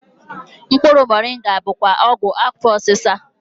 Mkpụrụ Moringa bụkwa ọgwụ afọ osisa